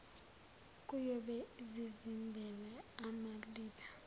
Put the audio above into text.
kuyobe zizimbela amaliba